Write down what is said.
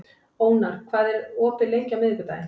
Ónar, hvað er opið lengi á miðvikudaginn?